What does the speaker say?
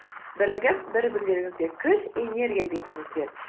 бірігіп бір бірлеріңізге күш энергия беріңіздер